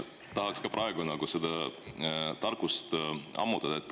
Tahaks ka praegu seda tarkust ammutada.